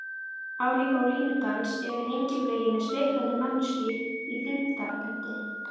Álíka og línudans yfir hengiflugi með spriklandi manneskju í þyngdarpunkti.